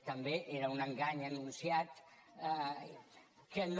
també era un engany anunciat que no